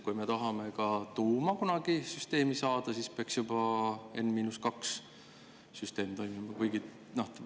Kui me tahame ka tuuma kunagi süsteemi saada, siis peaks juba N-2 süsteem toimima.